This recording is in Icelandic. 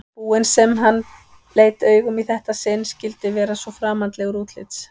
búinn sem hann leit augum í þetta sinn skyldi vera svo framandlegur útlits.